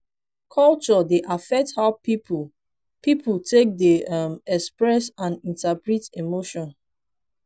culture dey affect how pipo pipo take dey um express and interpret emotion